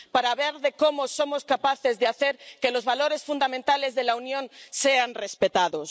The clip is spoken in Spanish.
para ver cómo somos capaces de hacer que los valores fundamentales de la Unión sean respetados.